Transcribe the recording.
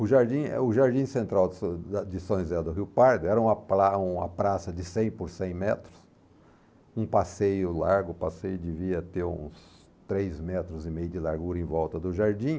O Jardim, eh, o Jardim Central de São José de São José do Rio Pardo era uma pra uma praça de cem por cem metros, um passeio largo, o passeio devia ter uns três metros e meio de largura em volta do jardim.